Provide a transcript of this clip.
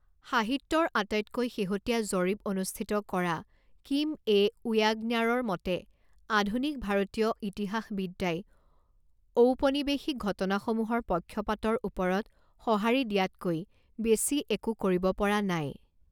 সাহিত্যৰ আটাইতকৈ শেহতীয়া জৰীপ অনুষ্ঠিত কৰা কিম এ. ওয়াগ্নাৰৰ মতে, আধুনিক ভাৰতীয় ইতিহাসবিদ্যাই ঔপনিবেশিক ঘটনাসমূহৰ 'পক্ষপাত'ৰ ওপৰত সঁহাৰি দিয়াতকৈ বেছি একো কৰিব পৰা নাই।